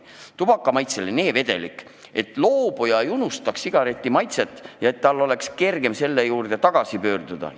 Tubakamaitseline e-vedelik, et loobuja ei unustaks sigareti maitset ja et tal oleks kergem selle juurde tagasi pöörduda.